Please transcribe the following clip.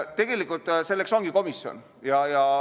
Tegelikult selleks ongi komisjon.